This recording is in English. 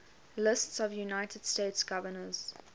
lists of united states governors